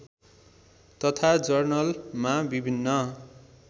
तथा जर्नलमा विभिन्न